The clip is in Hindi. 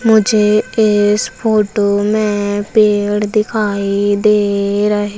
मुझे इस फोटो में पेड़ दिखाई दे रहे--